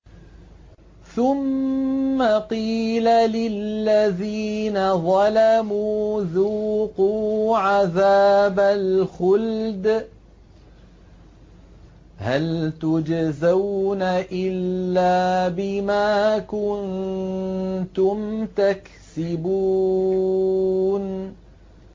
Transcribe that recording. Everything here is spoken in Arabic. ثُمَّ قِيلَ لِلَّذِينَ ظَلَمُوا ذُوقُوا عَذَابَ الْخُلْدِ هَلْ تُجْزَوْنَ إِلَّا بِمَا كُنتُمْ تَكْسِبُونَ